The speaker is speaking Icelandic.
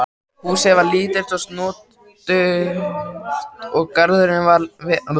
Húsið var lítið og snoturt og garðurinn vel hirtur.